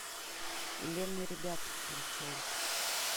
элен и ребята включай